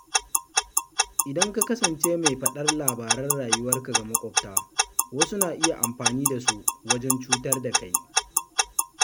Idan ka kasance mai faɗar labaran rayuwarka ga maƙwabta, wasu na iya amfani da su wajen cutar da kai.